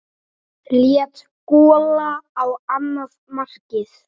Létt gola á annað markið.